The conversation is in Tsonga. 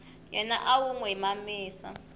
yena u n wi mamisa